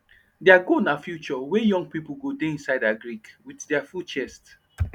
deir goal na future were young pipo go de inside agric with deir full chest